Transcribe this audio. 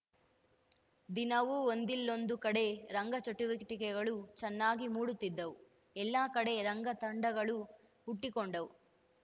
ದಿನವೂ ಒಂದಿಲ್ಲೊಂದು ಕಡೆ ರಂಗಚಟುವಟಿಕೆಗಳು ಚೆನ್ನಾಗಿ ಮೂಡುತ್ತಿದ್ದವು ಎಲ್ಲಾ ಕಡೆ ರಂಗ ತಂಡಗಳಳು ಹುಟ್ಟಿಕೊಂಡವು